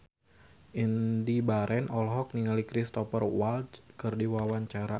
Indy Barens olohok ningali Cristhoper Waltz keur diwawancara